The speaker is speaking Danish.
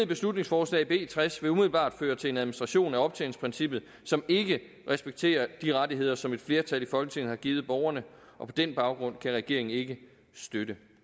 beslutningsforslag b tres vil umiddelbart føre til en administration af optjeningsprincippet som ikke respekterer de rettigheder som et flertal i folketinget har givet borgerne og på den baggrund kan regeringen ikke støtte